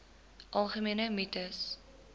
algemene mites